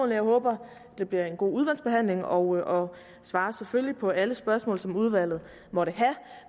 jeg håber det bliver en god udvalgsbehandling og svarer selvfølgelig på alle spørgsmål som udvalget måtte have